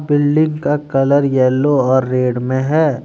Building का colour yellow और red में है।